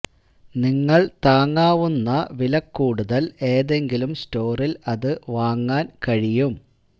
നിങ്ങൾ താങ്ങാവുന്ന വില കൂടുതൽ ഏതെങ്കിലും സ്റ്റോറിൽ അത് വാങ്ങാൻ കഴിയും